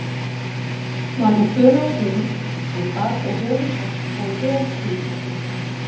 Var hún föl á kinn, en bar þó höfuð hátt og vel þunga sinn.